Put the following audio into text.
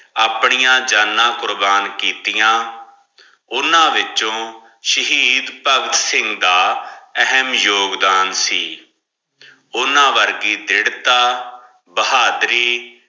ਆਪਣੀਆਂ ਜਾਣਾ ਕੁਰਬਾਨ ਕੀਤੀਆਂ ਓਨਾ ਵਿਚੋ ਸ਼ਹੀਦ ਭਗਤ ਸਿੰਘ ਦਾ ਅਹਿਮ ਯੋਗਦਾਨ ਸੀ ਓਨਾ ਵਰਗੀ ਦ੍ਰਿੜਤਾ ਬਹਾਦੁਰੀ।